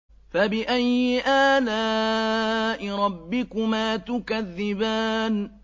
فَبِأَيِّ آلَاءِ رَبِّكُمَا تُكَذِّبَانِ